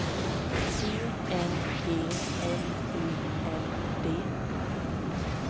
E N G L U N D